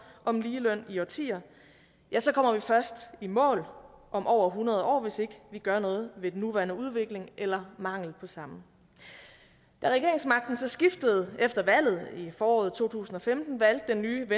om ligeløn i årtier kommer vi først i mål om over hundrede år hvis ikke vi gør noget ved den nuværende udvikling eller mangel på samme da regeringsmagten så skiftede efter valget i foråret to tusind og femten valgte den nye